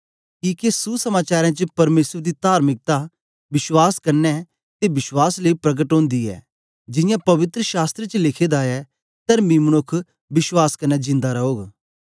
किके सुसमचारें च परमेसर दी तार्मिकता विश्वास क्न्ने ते बश्वास लेई प्रकट ओंदी ऐ जियां पवित्र शास्त्र च लिखे दा ऐ तरमी मनुक्ख विश्वास कन्ने जिन्दा रौग